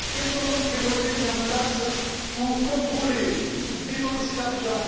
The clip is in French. Quels sont donc les moyens mis en place pour contrôler et dépenser l'argent?